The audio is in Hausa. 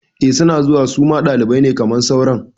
Eh suna zuwa suma ɗalibai ne kamar sauran